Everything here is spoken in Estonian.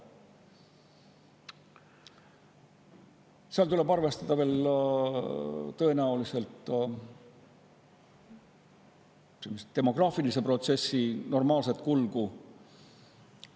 Seal tuleb arvestada ka demograafilise protsessi normaalset kulgu.